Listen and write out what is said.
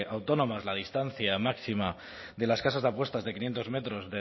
autónomas la distancia máxima de las casas de apuestas de quinientos metros